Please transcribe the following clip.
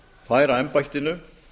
færa embættinu